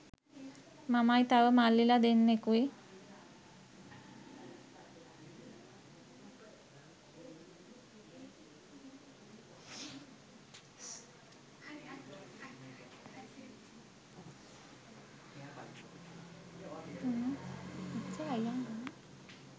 මමයි තව මල්ලිල දෙන්නෙකුයි